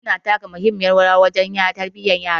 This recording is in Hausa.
Iyaye suna taka muhimmiyar rawa wajen tarbiyyar yayansu